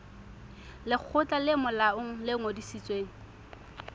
lekgotla le molaong le ngodisitsweng